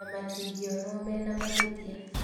na matingĩonwo mena mahĩtia